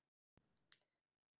Gott gras